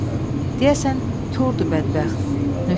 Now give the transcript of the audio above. Deyəsən, kordur bədbəxt.